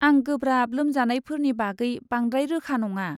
आं गोब्राब लोमजानायफोरनि बागै बांद्राय रोखा नङा।